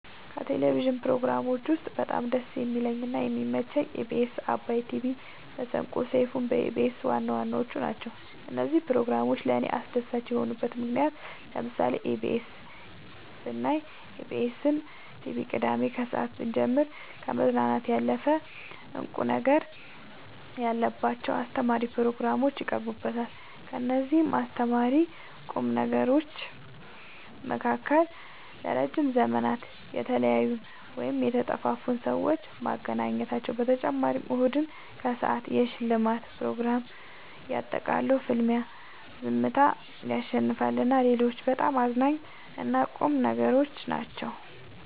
ከቴሌቭዥን ፕሮግራሞች ውስጥ በጣም ደስ የሚለኝ እና የሚመቸኝ ኢቢኤስ አባይ ቲቪ መሰንቆ ሰይፋን በኢቢኤስ ዋናዋናዎቹ ናቸው። እነዚህ ፕሮግራሞች ለእኔ አስደሳች የሆኑበት ምክንያት ለምሳሌ ኢቢኤስ ብናይ ኢቢኤስን ቲቪ ቅዳሜ ከሰአት ብንጀምር ከመዝናናት ያለፈ እንቁ ነገር ያለባቸው አስተማሪ ፕሮግራሞች ይቀርቡበታል ከእነዚህም አስተማሪና ቁም ነገሮች መካከል ለረዥም ዘመን የተለያዩን ወይም የተጠፋፉትን ሰዎች ማገናኘታቸው በተጨማሪም እሁድን ከሰአት የሽልማት ፕሮግራም የቃጠሎ ፍልሚያ ዝምታ ያሸልማል እና ሌሎችም በጣም አዝናኝ እና ቁም ነገሮች ናቸው።